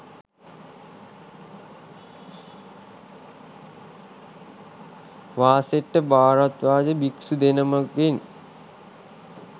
වාසෙට්ඨ භාරද්වාජ භික්‍ෂු දෙනමගෙන්